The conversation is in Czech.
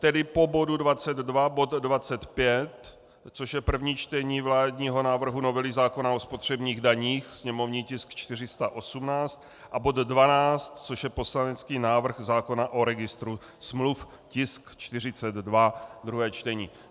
Tedy po bodu 22 bod 25, což je první čtení vládního návrhu novely zákona o spotřebních daních, sněmovní tisk 418, a bod 12, což je poslanecký návrh zákona o registru smluv, tisk 42, druhé čtení.